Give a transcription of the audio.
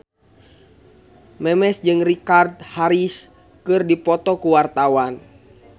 Memes jeung Richard Harris keur dipoto ku wartawan